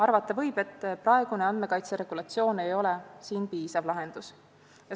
Arvata võib, et praegune andmekaitseregulatsioon ei ole piisav lahendus.